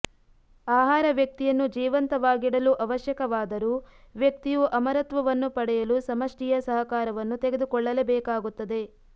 ಆಹಾರ ವ್ಯಕ್ತಿಯನ್ನು ಜೀವಂತವಾಗಿಡಲು ಅವಶ್ಯಕವಾದರೂ ವ್ಯಕ್ತಿಯು ಅಮರತ್ವವನ್ನು ಪಡೆಯಲು ಸಮಷ್ಟಿಯ ಸಹಕಾರವನ್ನು ತೆಗೆದುಕೊಳ್ಳಲೇಬೇಕಾಗುತ್ತದೆ